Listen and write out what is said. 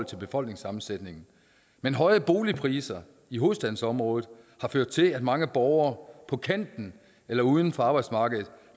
til befolkningssammensætning men høje boligpriser i hovedstadsområdet har ført til at mange borgere på kanten eller uden for arbejdsmarkedet